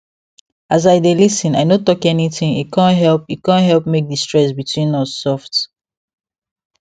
as i dey lis ten i no talk anything e con help e con help make the stress between us soft